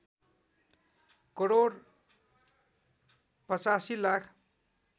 crore ८५ lakh